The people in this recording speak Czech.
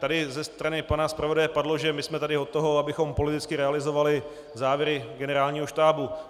Tady ze strany pana zpravodaje padlo, že my jsme tady od toho, abychom politicky realizovali závěry Generálního štábu.